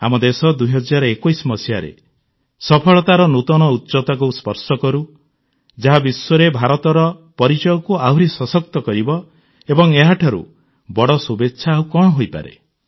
ଆମ ଦେଶ 2021 ମସିହାରେ ସଫଳତାର ନୂତନ ଉଚ୍ଚତାକୁ ସ୍ପର୍ଶ କରୁ ଯାହା ବିଶ୍ୱରେ ଭାରତର ପରିଚୟକୁ ଆହୁରି ସଶକ୍ତ କରିବ ଏବଂ ଏହାଠାରୁ ବଡ଼ ଶୁଭେଚ୍ଛା ଆଉ କଣ ହୋଇପାରେ